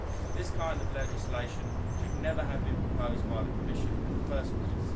This kind of legislation should never have been proposed by the Commission in the first place.